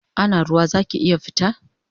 Ana ruwa zaki iya fita?